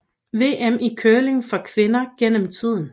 VM i curling for kvinder gennem tiden